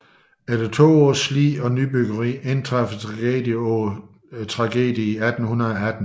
Efter to års slid og nybyggeri indtraf tragedie på tragedie i 1818